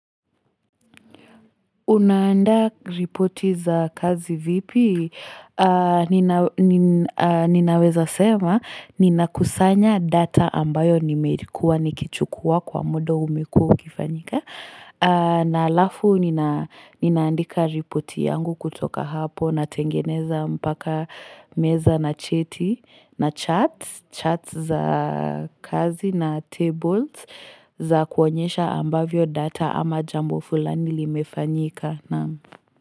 Unaanda ripoti za kazi vipi? Ninaweza sema ninakusanya data ambayo nimeirikuwa nikichukua kwa muda umekuwa ukifanyika. Na halafu ninaandika ripoti yangu kutoka hapo natengeneza mpaka meza na cheti na chats, chats za kazi na tables za kuonyesha ambavyo data ama jambo fulani limefanyika.